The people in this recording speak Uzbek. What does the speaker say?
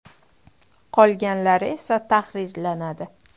Qolganlari esa tahrirlanadi.